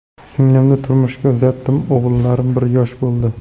Singlimni turmushga uzatdim, o‘g‘illarim bir yosh bo‘ldi.